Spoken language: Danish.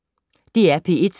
DR P1